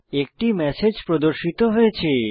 একটি ম্যাসেজ প্রদর্শিত হয়েছে